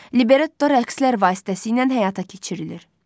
Libretto rəqslər vasitəsilə həyata keçirilir.